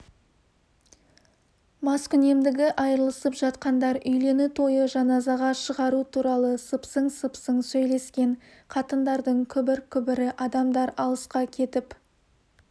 маскүнемдігі айырылысып жатқандар үйлену тойы жаназа шығару туралы сыпсың-сыпсың сөйлескен қатындардың күбір-күбірі адамдар алысқа кетіп